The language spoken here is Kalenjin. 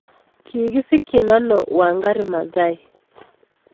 Kigisikchin ano Wangari Maathai